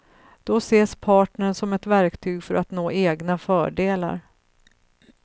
Då ses partnern som ett verktyg för att nå egna fördelar.